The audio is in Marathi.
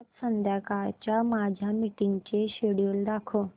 आज संध्याकाळच्या माझ्या मीटिंग्सचे शेड्यूल दाखव